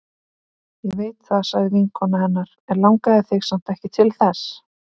Ég veit það sagði vinkona hennar, en langaði þig samt ekki til þess?